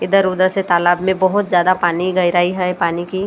इधर उधर से तालाब में बहुत ज्यादा पानी गहराई है पानी की।